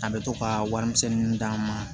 A bɛ to ka warimisɛnninw d'a ma